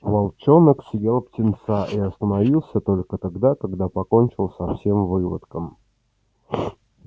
волчонок съел птенца и остановился только тогда когда покончил со всем выводком